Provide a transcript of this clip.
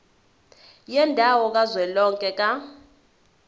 yendawo kazwelonke ka